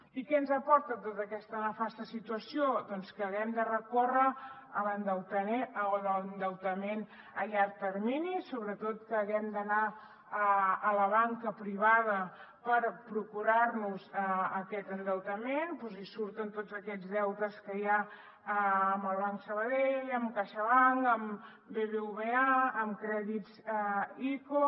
i què ens aporta tota aquesta nefasta situació doncs que haguem de recórrer a l’endeutament a llarg termini sobretot que haguem d’anar a la banca privada per procurar nos aquest endeutament i surten tots aquests deutes que hi ha amb el banc sabadell amb caixabank amb bbva amb crèdits ico